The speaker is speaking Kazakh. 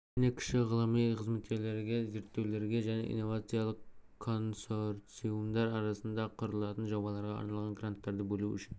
және кіші ғылыми қызметкерлерге зерттеулерге және инновациялық консорциумдар аясында құрылатын жобаларға арналған гранттарды бөлу үшін